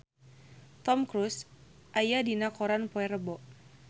Tom Cruise aya dina koran poe Rebo